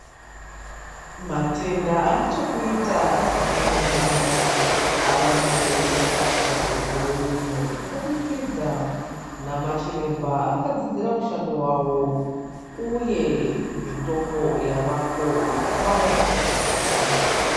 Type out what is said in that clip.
Matenda ane chekuita nemuganda ava nyore kurapwa mukore uno kubudikidza namachiremba akadzidzira mushando wawo uye mitombo yavako yekubaya kana mapirizi.